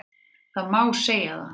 Það má segja það